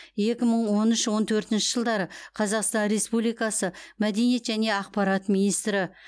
екі мың он үш он төртінші жылдары қазақстан республикасы мәдениет және ақпарат министрі